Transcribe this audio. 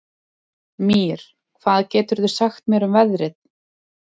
Mír, hvað geturðu sagt mér um veðrið?